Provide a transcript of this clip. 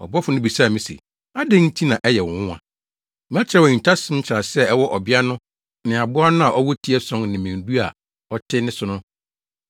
Ɔbɔfo no bisaa me se, “Adɛn nti na ɛyɛ wo nwonwa? Mɛkyerɛ wo ahintasɛm nkyerɛase a ɛwɔ ɔbea no ne aboa no a ɔwɔ ti ason ne mmɛn du a ɔte ne so no.